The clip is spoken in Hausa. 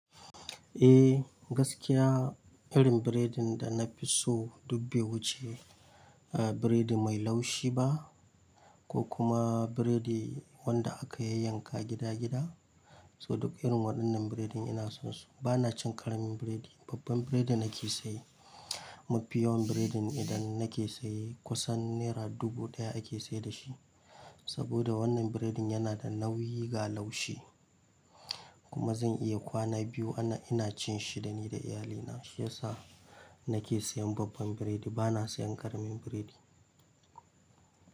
Eh gaskiya, irin burodin da nafi so duk be wuce burodi mai laushi ba ko kuma burodi wanda aka yayyanka gida-gida. So duk irin waɗannan biredin ina son su. Bana cin karamin biredi, babban biredi nake saye. Mafi yawan biredin da nake saye kusan nera dubu ɗaya ake sai da shi. Saboda wannan burodin yana da nauyi ga laushi kuma zan iya kwana biyu ana ina cin shi dani da iyalina. Yasa nake sayan babban biredi bana sayan ƙaramin biredi.